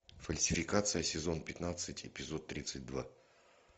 фальсификация сезон пятнадцать эпизод тридцать два